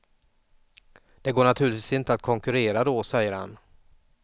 Det går naturligtvis inte att konkurrera då, säger han.